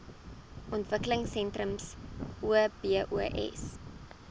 ontwikkelingsentrums obos